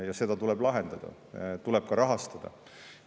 Ja seda tuleb lahendada, tuleb ka rahastada.